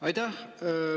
Aitäh!